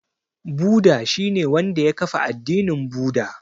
Buda shi ne wanda ya kafa addinin Buda.